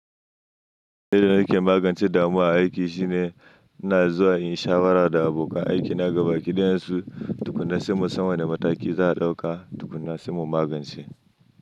Wani abu da nake magance damuwa a aiki shine ina zuwa in shawara da abokan aiki na gaba ki ɗayan su, tukuna saimu san wane mataki za a ɗauka tukuna saimu magance.